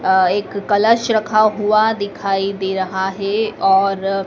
एक कलश रखा हुआ दिखाई दे रहा है और--